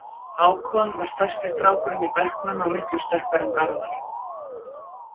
Hákon var stærsti strákurinn í bekknum og miklu sterkari en Garðar.